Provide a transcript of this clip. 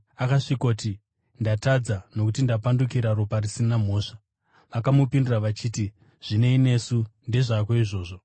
Akasvikoti, “Ndatadza, nokuti ndapandukira ropa risina mhosva.” Vakamupindura vachiti, “Zvinei nesu? Ndezvako izvo.”